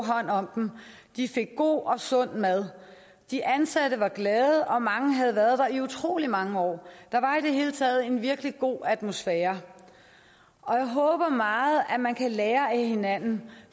hånd om dem de fik god og sund mad de ansatte var glade og mange havde været der i utrolig mange år der var i det hele taget en virkelig god atmosfære jeg håber meget at man kan lære af hinanden